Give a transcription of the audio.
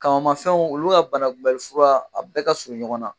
Kamamafɛnw olu ka banakunbɛli fura a bɛɛ ka surun ɲɔgɔn na